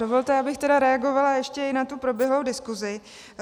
Dovolte, abych tedy reagovala ještě i na tu proběhlou diskusi.